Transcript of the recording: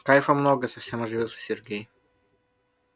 кайфа много совсем оживился сергей